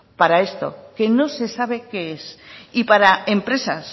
para esto que no se sabe qué es y para empresas